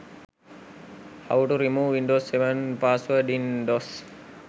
how to remove windows 7 password in dos